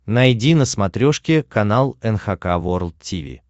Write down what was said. найди на смотрешке канал эн эйч кей волд ти ви